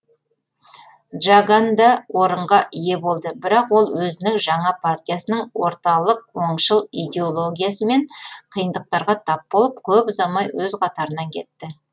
джаган да орынға ие болды бірақ ол өзінің жаңа партиясының орталық оңшыл идеологиясымен қиындықтарға тап болып көп ұзамай өз қатарынан кетті